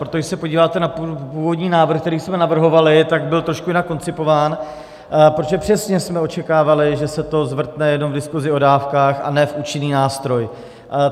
Protože když se podíváte na původní návrh, který jsme navrhovali, tak byl trošku jinak koncipován, protože přesně jsme očekávali, že se to zvrtne jenom v diskusi o dávkách, a ne v účinný nástroj.